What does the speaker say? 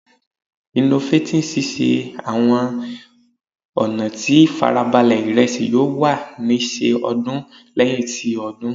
Innovating sise awọn ọna ti farabale iresi yoo wa ni ṣe ọdún lẹhin ti odun